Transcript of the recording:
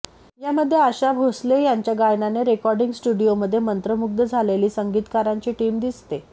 यामध्ये आशा भोसले यांच्या गायनाने रेकॉर्डिंग स्टुडिओमध्ये मंत्रमुग्ध झालेली संगीतकारांची टीम दिसते